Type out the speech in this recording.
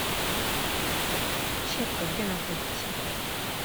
щепка где находится